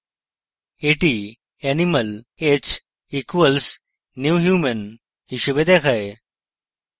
এটি animal h equals new human হিসাবে দেখায়